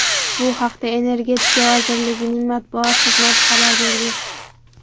Bu haqda Energetika vazirligining matbuot xizmati xabar bergan .